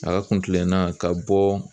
A ka kuntilenna ka bɔ